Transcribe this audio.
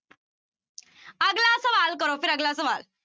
ਅਗਲਾ ਸਵਾਲ ਕਰੋ ਫਿਰ ਅਗਲਾ ਸਵਾਲ।